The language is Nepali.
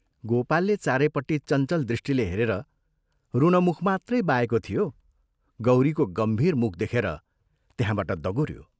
गोपालले चारैपट्टि चञ्चल दृष्टिले हेरेर रुन मुख मात्रै बाएको थियो गौरीको गम्भीर मुख देखेर त्यहाँबाट दगुऱ्यो।